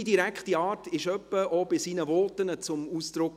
Seine direkte Art kam etwa auch in seinen Voten zum Ausdruck.